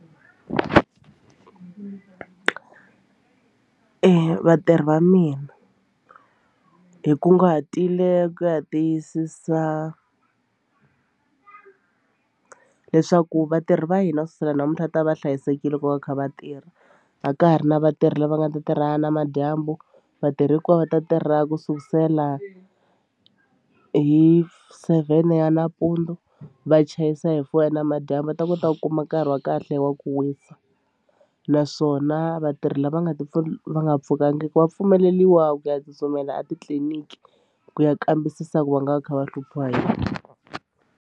Vatirhi va mina hi kunguhatile ku ya tiyisisa leswaku vatirhi va hina kusukusela namuntlha va ta va va hlayisekile loko va kha va tirha a ka ha ri na vatirhi lava nga ta tirha namadyambu vatirhi hinkwavo va ta tirha kusukusela hi seven ya nampundzu va chayisa hi four namadyambu va ta kota ku kuma nkarhi wa kahle wa ku wisa naswona vatirhi lava nga ta va nga pfukangiki va pfumeleriwa ku ya tsutsumela etitliliniki ku ya kambisisa ku va nga va kha va hluphiwa hi yini.